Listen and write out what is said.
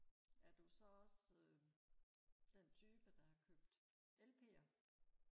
er du så også øh den type der har købt lp'er